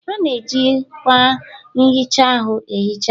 A na-eji akwa nhicha ahụ enhicha ahụ.